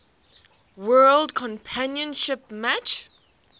world championship match